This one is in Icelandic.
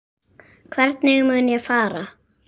Hvernig mun ég fara?